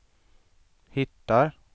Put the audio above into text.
hittar